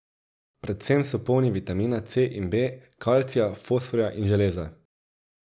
Predvsem so polni vitamina C in B, kalcija, fosforja in železa.